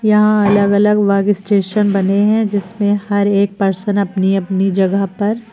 यहां अलग अलग वर्कस्टेशन बने हैं जिसमें हर एक पर्सन अपनी अपनी जगह पर--